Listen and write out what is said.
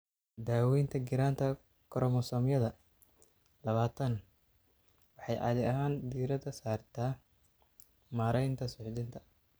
Daaweynta giraanta koromosoomyada labatan waxay caadi ahaan diiradda saartaa maareynta suuxdinta.